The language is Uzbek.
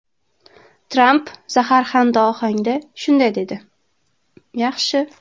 Tramp zaharxanda ohangda shunday dedi: ‘Yaxshi.